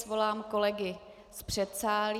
Svolám kolegy z předsálí.